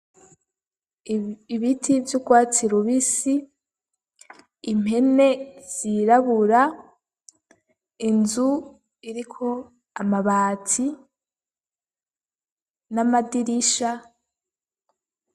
Ibiti vy'urwatsi rubisi impene zirabura inzu iriko amabati n'amadirisha.